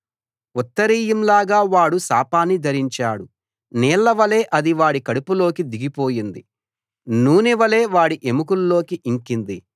ఉత్తరీయంలాగా వాడు శాపాన్ని ధరించాడు నీళ్లవలె అది వాడి కడుపులోకి దిగిపోయింది నూనె వలె వాడి ఎముకల్లోకి ఇంకింది